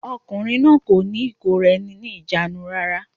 Arákùnrin náà kò ní ìkóra-eni-ní-ìjánu rárá.